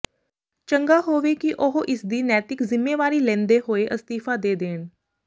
ਚੰਗਾ ਹੋਵੇ ਕਿ ਉਹ ਇਸਦੀ ਨੈਤਿਕ ਜ਼ਿੰਮੇਵਾਰੀ ਲੈਂਦੇ ਹੋਏ ਅਸਤੀਫਾ ਦੇ ਦੇਣ